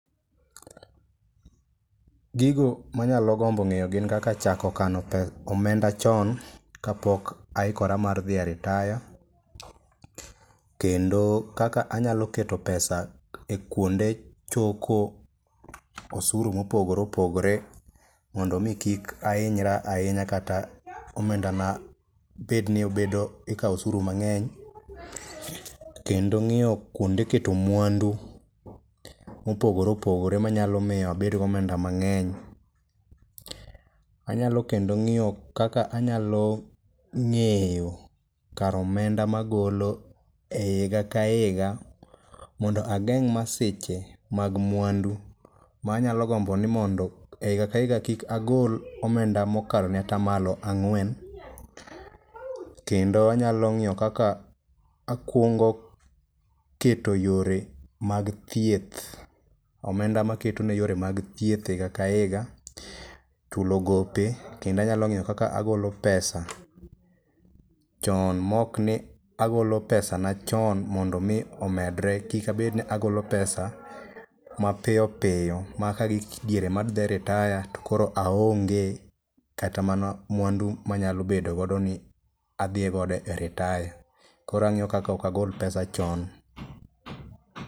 Gigo manyalo gombo ng'eyo gin kaka chako kano omenda chon kapok aikora mar dhiye retire. Kendo kaka anyalo keto pesa e kwonde choko osuru mopogore opogore, mondo omi kik ahinyra ahinya kata omendana bed ni obedo ,ikawo osuru mang'eny . Kendo ng'iyo kwonde keto mwandu mopogore opogore manyalo miyo abed gi omenda mang'eny. Anyalo kendo ng'iyo kaka anyalo ng'iyo kar omenda magolo e higa ka higa, mondo ageng' masiche mag mwandu manyalo gombo ni mondo e higa ka higa kik agol omenda mokalo atamalo ang'wen. Kendo anyalo ng'iyo kaka akungo keto yore mag thieth ,omenda maketo ne yore mag thieth e higa ka higa, chulo gope kendo anyalo ng'iyo kaka agolo pesa chon mokni agolo pesana chon mondo omi omedre, kik abedni agolo pesa mapiyo piyo ma kagik diere madhi retire to koro aonge kata mwandu manyalo bedo godo ni adhiye godo e retire. Koro ang'iyo kaka ok agol pesa chon.